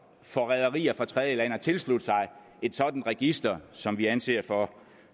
for rederier fra tredjelande at tilslutte sig et sådant register som vi anser for